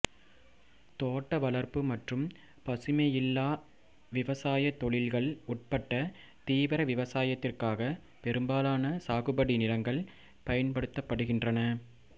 தோட்டவளர்ப்பு மற்றும் பசுமையில்ல விவசாய தொழில்கள் உட்பட தீவிர விவசாயத்திற்காக பெரும்பாலான சாகுபடி நிலங்கள் பயன்படுத்தப்படுகின்றன